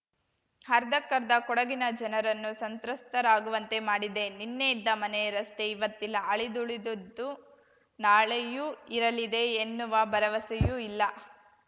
ಅರ್ಧಕ್ಕರ್ಧ ಕೊಡಗಿನ ಜನರನ್ನು ಸಂತ್ರಸ್ತರಾಗುವಂತೆ ಮಾಡಿದೆ ನಿನ್ನೆಯಿದ್ದ ಮನೆ ರಸ್ತೆ ಇವತ್ತಿಲ್ಲ ಅಳಿದುಳಿದದ್ದು ನಾಳೆಯೂ ಇರಲಿದೆ ಎನ್ನುವ ಭರವಸೆಯೂ ಇಲ್ಲ